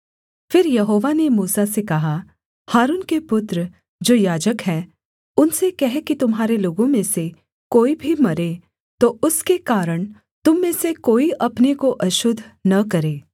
फिर यहोवा ने मूसा से कहा हारून के पुत्र जो याजक हैं उनसे कह कि तुम्हारे लोगों में से कोई भी मरे तो उसके कारण तुम में से कोई अपने को अशुद्ध न करे